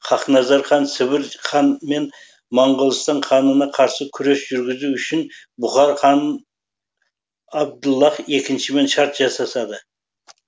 хақназар хан сібір хан мен моғолстан ханына қарсы күрес жүргізу үшін бұхар хан абдаллах екіншімен шарт жасасады